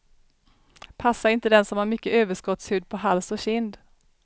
Passar inte den som har mycket överskottshud på hals och kind.